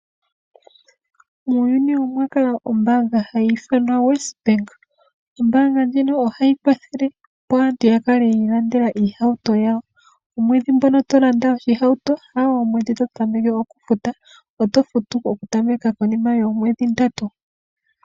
Muuyuni omwa kala ombaanga hayi ithanwa WesBank. Ombaanga ndjino ohayi kwathele opo aantu ya kale yii landela iihauto yawo. Omwedhi ngoka to landa oshihauto ,ha go omwedhi to tameke oku futa ,oto futu oku tameka konima yoomwedhi ndatu .